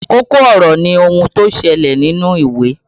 Kókó ọ̀rọ̀ ni ohun tí ó ìṣẹ̀lẹ̀ nínú ìwé